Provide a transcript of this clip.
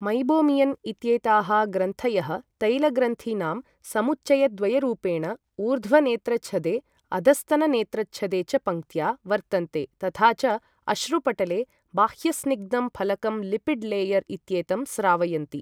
Meibomian इत्येताः ग्रन्थयः तैलग्रन्थिनां समुच्चयद्वयरूपेण ऊर्ध्वनेत्रछदे अधस्तननेत्रछदे च पङ्क्त्या वर्तन्ते तथा च अश्रुपटले बाह्यस्निग्धं फलकं लिपिड् लेयर् इत्येतं स्रावयन्ति।